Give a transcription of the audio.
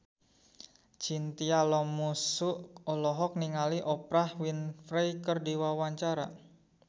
Chintya Lamusu olohok ningali Oprah Winfrey keur diwawancara